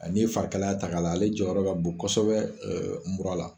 A n'i ye farikalaya ta k'a lajɛ ale jɔyɔrɔ bɛ bon kosɛbɛ mura la